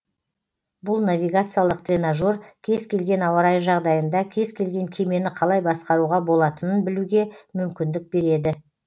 бұл навигациялық тренажер кез келген ауа райы жағдайында кез келген кемені қалай басқаруға болатынын білуге мүмкіндік береді